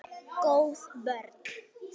Góð vörn.